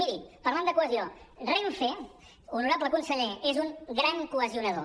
miri parlant de cohesió renfe honorable conseller és un gran cohesionador